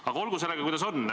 Aga olgu sellega, kuidas on.